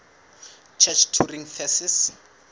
church turing thesis